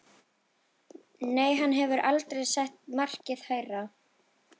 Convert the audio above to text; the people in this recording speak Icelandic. Nei, hann hafði aldrei sett markið hærra.